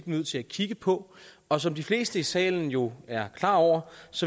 nødt til at kigge på og som de fleste i salen jo er klar over